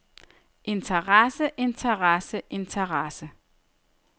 interesse interesse interesse